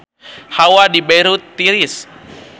Hawa di Beirut tiris